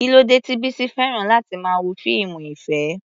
Kí ló dé tí Bisi fẹ́ràn láti máa wo fíìmù ìfẹ́?